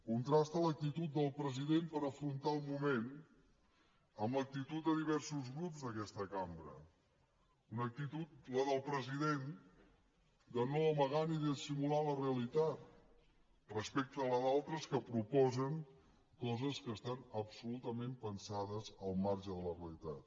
contrasta l’actitud del president per afrontar el moment amb l’actitud de diversos grups d’aquesta cambra una actitud la del president de no amagar ni dissimular la realitat respecte a la d’altres que proposen coses que estan absolutament pensades al marge de la realitat